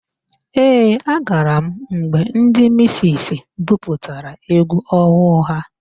Ee, agara m mgbe ndị misisi buputara égwú ọhụụ ha.